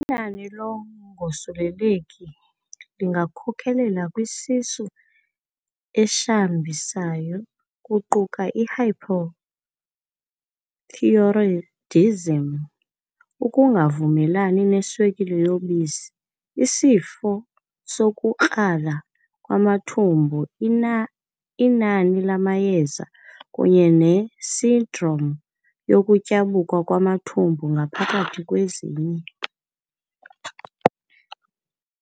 Inani lokungosuleleki lingakhokelele kwisisu eshambisayo kuquka- i-hyperthyroidism, ukungavumelani neswekile yobisi, isifo sokukrala kwamathumbu, inani lamayeza, kunye nesindrom yokutyabuka kwamathumbu phakathi kwezinye.